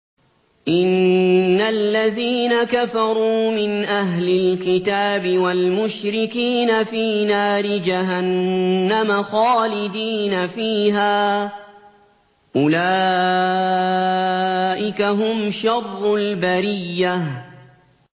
إِنَّ الَّذِينَ كَفَرُوا مِنْ أَهْلِ الْكِتَابِ وَالْمُشْرِكِينَ فِي نَارِ جَهَنَّمَ خَالِدِينَ فِيهَا ۚ أُولَٰئِكَ هُمْ شَرُّ الْبَرِيَّةِ